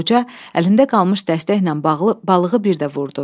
Qoca əlində qalmış dəstəklə balığı bir də vurdu.